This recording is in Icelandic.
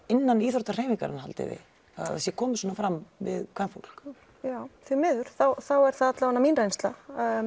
innan íþróttahreyfingarinnar haldið þið að það sé komið svona fram við kvenfólk já því miður þá er það mín reynsla